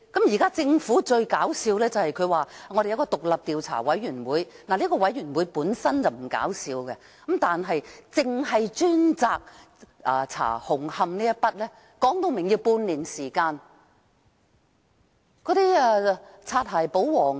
現在政府最搞笑的，是成立一個獨立調查委員會，這個調查委員會本身並不搞笑，但光是調查紅磡站便說需要半年時間。